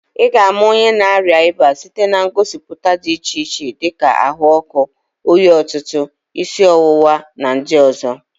Ị ga-ama onye na-arịa ịba site na ngosipụta dị iche iche dịka ahụ ọkụ, oyi ọtụtụ, isi ọwụwa na ndị ọzọ.